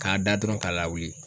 K'a da dɔrɔn k'a lawuli